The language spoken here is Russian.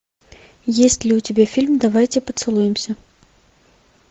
есть ли у тебя фильм давайте поцелуемся